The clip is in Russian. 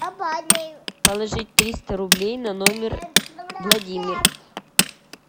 положить триста рублей на номер владимир